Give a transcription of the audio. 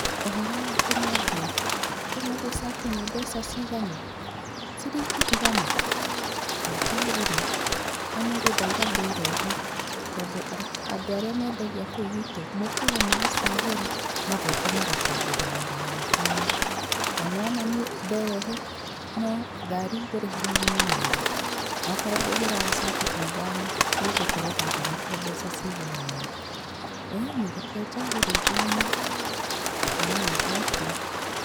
Ũhoro waku mwendia? Ũmũthĩ cati nĩ mbeca cigana? Ciringi igana? Reke njagũre, ũmũthĩ ndauga ndĩrehe tondũ andũ arĩa mendagia kũu gwitũ mokaga magacagũra magoka magatwenderia magana matano, na nĩwona niĩ nderehe no ngari ngũriha magana merĩ, nokorwo ngũgĩraga cati ta ithano nĩngũkorwo ndahonokia mbeca cigana ũna, ĩĩni reke njagũre ithano, haya thengiũ.